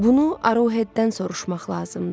Bunu Aruhetdən soruşmaq lazımdır.